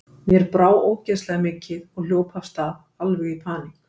Mér brá ógeðslega mikið og hljóp af stað, alveg í paník.